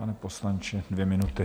Pane poslanče, dvě minuty.